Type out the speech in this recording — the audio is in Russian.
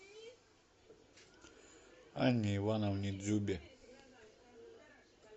анне ивановне дзюбе